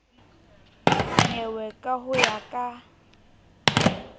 nyewe ka ho ya ka